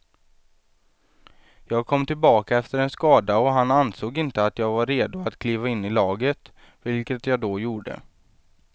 Jag kom tillbaka efter en skada och han ansåg inte att jag var redo att kliva in i laget, vilket jag då gjorde.